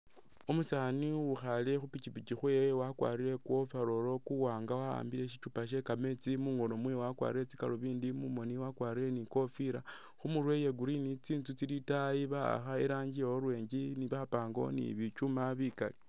Umusaani uwukhale khu'pikyipikyi khewe wakwarire ku overall kuwanga wa'ambile shichuupa she kametsi munghono mwewe wakwarire tsi galubindi mumoni wakwarire ni ikofira khumurwe iye green ,tsinzu tsili itaayi ba'akha iranji ye orange bapangawo ni biKyuuma bikali